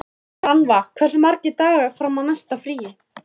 Rannva, hversu margir dagar fram að næsta fríi?